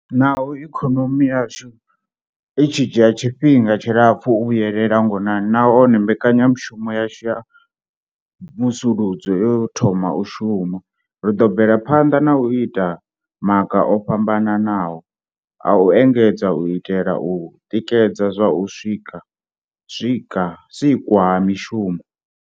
Naho ikonomi yashu i tshi dzhia tshifhinga tshilapfu u vhuyelela ngonani nahone mbekanyamushumo yashu ya mvusuludzo yo thoma u shuma, ri ḓo bvela phanḓa na u ita maga o fhambanaho a u engedza u itela u tikedza zwa u sikwa ha mishumo.